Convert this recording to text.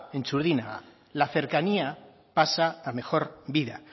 en txurdinaga la cercanía pasa a mejor vida